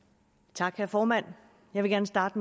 tak herre formand jeg vil gerne starte